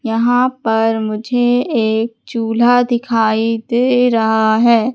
यहां पर मुझे एक चूल्हा दिखाई दे रहा है।